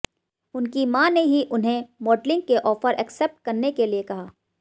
उनकी मां ने ही उन्हें मॉडलिंग के ऑफर एक्सेप्ट करने के लिए कहा